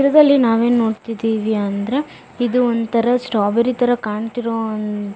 ಚಿತ್ರದಲ್ಲಿ ನಾವು ಏನ್ ನೋಡತ್ತಿದಿವಿ ಅಂದ್ರೆ ಇದು ಒಂತರ ಸ್ಟ್ರಾಬೆರಿ ತರ ಕಾಣತ್ತಿರೋ ಒಂದು --